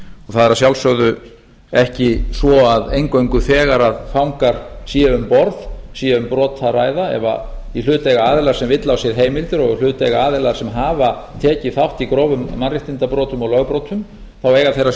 það er að sjálfsögðu ekki svo að eingöngu þegar fangar séu um borð sé um brot að ræða ef í hlut eiga aðilar sem villa á sér heimildir og í hlut eiga aðilar sem hafa tekið þátt í grófum mannréttindabrotum og lögbrotum eiga þeir að